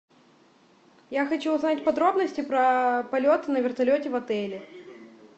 я хочу узнать подробности про полет на вертолете в отеле